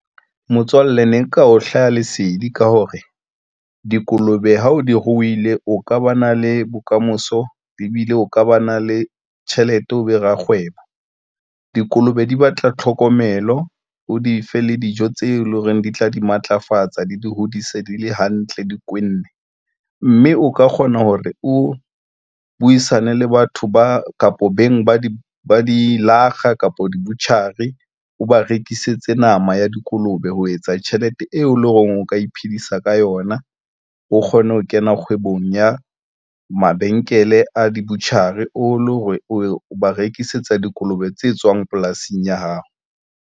Motswalle ne nka o hlaha lesedi ka hore dikolobe ha o di rohile, o ka ba na le bokamoso ebile o ka ba na le tjhelete o be rakgwebo. Dikolobe di batla tlhokomelo, o di fe le dijo tse leng hore di tla di matlafatsa, di di hodise, di le hantle, di kwenne mme o ka kgona hore o buisane le batho ba kapo beng ba di ba di-lakga kapo di-butchery, o ba rekisetse nama ya dikolobe ho etsa tjhelete eo e leng hore o ka iphedisa ka yona, o kgone ho kena kgwebong ya mabenkele a di butchery, o le o ba rekisetsa dikolobe tse tswang polasing ya hao.